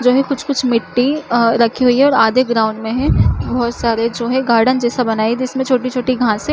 जो है कुछ-कुछ मिट्टी अ रखी हुई है और आधे ग्राउंड में है बहोत सारे जो है गार्डन जैसा बना है जिसमे छोटी-छोटी घाँसे--